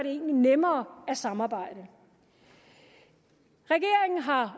egentlig nemmere at samarbejde regeringen har